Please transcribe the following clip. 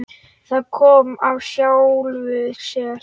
Það kom af sjálfu sér.